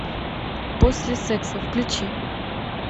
после секса включи